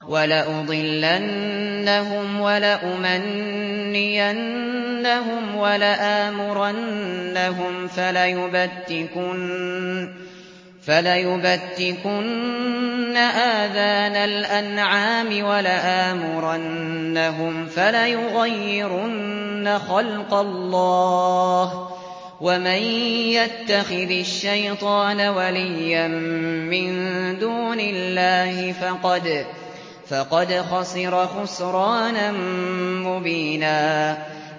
وَلَأُضِلَّنَّهُمْ وَلَأُمَنِّيَنَّهُمْ وَلَآمُرَنَّهُمْ فَلَيُبَتِّكُنَّ آذَانَ الْأَنْعَامِ وَلَآمُرَنَّهُمْ فَلَيُغَيِّرُنَّ خَلْقَ اللَّهِ ۚ وَمَن يَتَّخِذِ الشَّيْطَانَ وَلِيًّا مِّن دُونِ اللَّهِ فَقَدْ خَسِرَ خُسْرَانًا مُّبِينًا